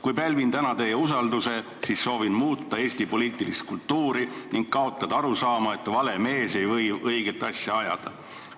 Kui pälvin täna teie usalduse, siis soovin muuta Eesti poliitilist kultuuri ning kaotada arusaama, et vale mees ei või õiget asja ajada.